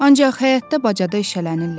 Ancaq həyətdə bacada işələnirlər.